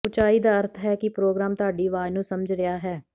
ਉਚਾਈ ਦਾ ਅਰਥ ਹੈ ਕਿ ਪ੍ਰੋਗਰਾਮ ਤੁਹਾਡੀ ਆਵਾਜ਼ ਨੂੰ ਸਮਝ ਰਿਹਾ ਹੈ